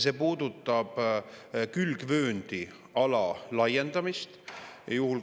See puudutab külgvööndiala laiendamist.